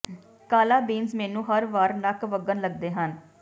ਕਾਲਾ ਬੀਨਜ਼ ਮੈਨੂੰ ਹਰ ਵਾਰ ਨੱਕ ਵਗਣ ਲੱਗਦੇ ਹਨ